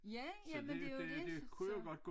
Ja jamen det er jo det så så